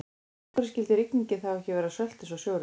En af hverju skyldi rigningin þá ekki vera sölt eins og sjórinn?